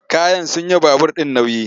Kayan sun yi wa babur ɗin nauyi.